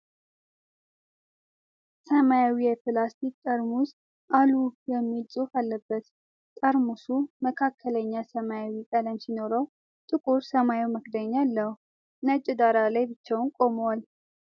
ሰማያዊ የፕላስቲክ ጠርሙስ "አሉህ " የሚል ጽሑፍ አለበት። ጠርሙሱ መካከለኛ ሰማያዊ ቀለም ሲኖረው ጥቁር ሰማያዊ መክደኛ አለው። ነጭ ዳራ ላይ ብቻውን ቆሟል።